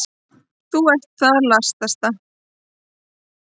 Þú ert það latasta.